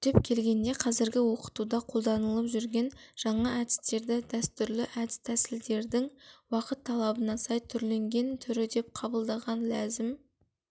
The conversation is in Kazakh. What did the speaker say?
түптеп келгенде қазіргі оқытуда қолданылып жүрген жаңа әдістерді дәстүрлі әдіс тәсілдердің уақыт талабына сай түрленген түрі деп қабылдаған ләзім